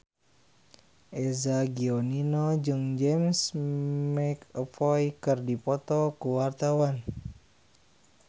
Eza Gionino jeung James McAvoy keur dipoto ku wartawan